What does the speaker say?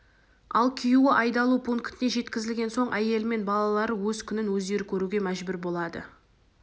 ал күйеуі айдалу пунктіне жеткізілген соң әйелімен балалары өз күнін өздері көруге мәжбүр болады